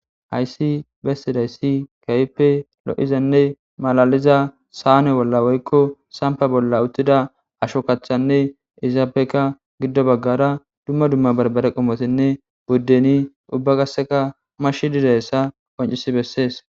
hayssi bessidaysi kawppe lo7izanne malaliza saane bolla woykko sampa bolla uttida asho kachanne izaabeka giddo baggara dumma dumma barbare qomotenne buddeni ubba gasseka mashi didayssa qoncisi bessees